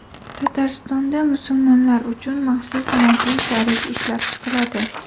Tataristonda musulmonlar uchun maxsus mobil tarif ishlab chiqiladi.